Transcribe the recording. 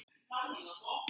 Þetta hefur ekkert breyst.